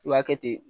I b'a kɛ ten